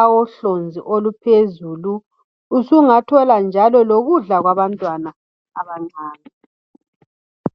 awohlonzi oluphezulu usungathola njalo lokudla kwabantwana abancane.